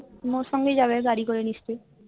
তুমি ওর সঙ্গেই যাবে গাড়ি করে নিশ্চই